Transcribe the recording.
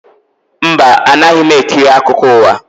Mba, anaghị m ekiri akụkọ ụwa